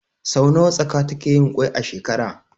Sau nawa tsaka takeyin kwai a shekara?